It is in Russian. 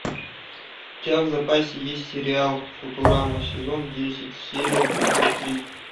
у тебя в запасе есть сериал футурама сезон десять серия тридцать три